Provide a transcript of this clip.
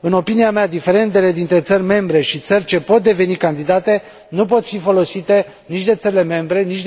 În opinia mea, diferendele dintre țările membre și țările ce pot deveni candidate nu pot fi folosite nici de țările membre, nici